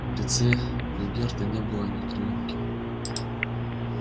в лице богерта не было ни кровинки